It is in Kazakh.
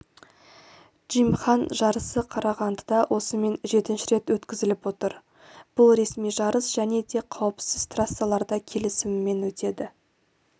джимхан жарысы қарағандыда осымен жетінші рет өткізіліп отыр бұл ресми жарыс жәнеде қауіпсіз трассаларда келісімімен өтеді